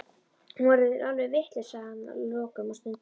Hún verður alveg vitlaus, sagði hann að lokum og stundi.